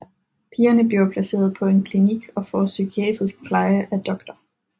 Pigerne bliver placeret på en klinik og får psykiatrisk pleje af Dr